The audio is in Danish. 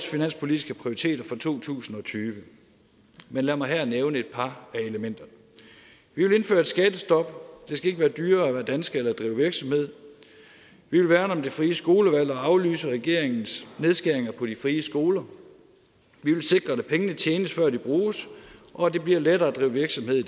finanspolitiske prioriteter for to tusind og tyve men lad mig her nævne et par af elementerne vi vil indføre et skattestop det skal ikke være dyrere at være dansker eller at drive virksomhed vi vil værne om det frie skolevalg og aflyse regeringens nedskæringer på de frie skoler vi vil sikre at pengene tjenes før de bruges og at det bliver lettere at drive virksomhed i